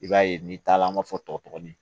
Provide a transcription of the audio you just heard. I b'a ye n'i taala an b'a fɔ tɔkin